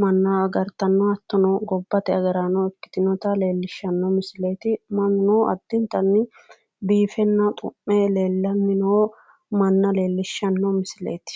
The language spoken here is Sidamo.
manna agartanno hattono gobbate agaraano ikkitinota leellishshanno misileeti mannuno addintanni biifenna xu'me leellannino manna leellishshanno misileeti.